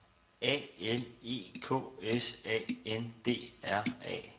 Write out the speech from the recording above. A L E K S A N D R A